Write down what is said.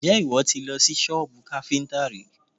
Ǹjẹ́ ìwọ ti lọ sí sọ́bù káfíntà rí?